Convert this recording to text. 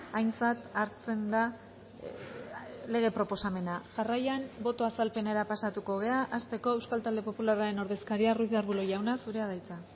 aintzat hartzen da lege proposamena jarraian boto azalpenera pasatuko gara hasteko euskal talde popularraren ordezkaria ruiz de arbulo jauna zurea da hitza